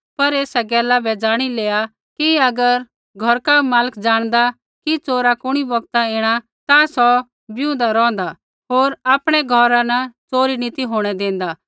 पर एसा गैला ज़ाणी लेआ कि अगर घौरका मालक ज़ाणदा कि च़ोरा कुणी बौगतै ऐणा ता सौ ज़ागदा रौंहदा होर आपणै घौरा न च़ोरी नी ती होंणै देंदा